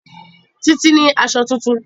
Títí ní aṣọ tuntun